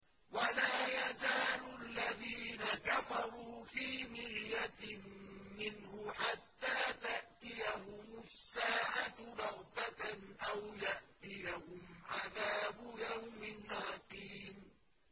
وَلَا يَزَالُ الَّذِينَ كَفَرُوا فِي مِرْيَةٍ مِّنْهُ حَتَّىٰ تَأْتِيَهُمُ السَّاعَةُ بَغْتَةً أَوْ يَأْتِيَهُمْ عَذَابُ يَوْمٍ عَقِيمٍ